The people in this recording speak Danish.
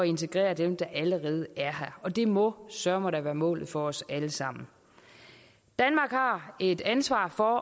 integrere dem der allerede er her og det må søreme da være målet for os alle sammen danmark har et ansvar for